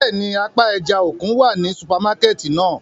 Bẹ́ẹ̀ni, apa ẹja-okun wa ni supamakẹti náa.